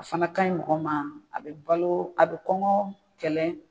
A fana ka ɲi mɔgɔ ma, a be balo a be kɔngɔ kɛlɛ.